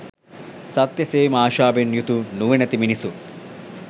සත්‍ය සෙවීමේ ආශාවෙන් යුතු නුවණැති මිනිසුන්